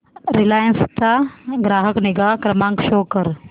Reliance चा ग्राहक निगा क्रमांक शो कर